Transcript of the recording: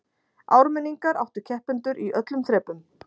Ármenningar áttu keppendur í öllum þrepum